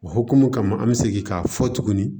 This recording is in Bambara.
O hokumu kama an mi segin k'a fɔ tuguni